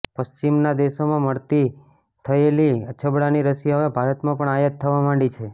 પશ્ચિમનાં દેશોમાં મળતી થયેલી અછબડાની રસી હવે ભારતમાં પણ આયાત થવા માંડી છે